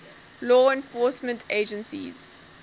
law enforcement agencies